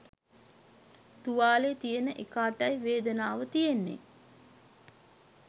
තුවාලේ තියෙන එකාටයි වේදනාව තියෙන්නේ